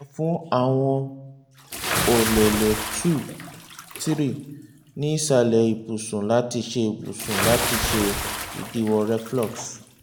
tẹra fun awọn ọlẹlẹ two three ni isalẹ ibusun lati ṣe ibusun lati ṣe idiwọ reflux